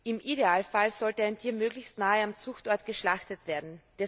Im Idealfall sollte ein Tier möglichst nahe am Zuchtort geschlachtet werden.